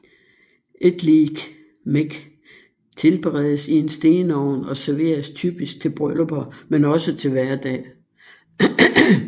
Etliekmek tilberedes i en stenovn og serveres typisk til bryllupper men også til hverdag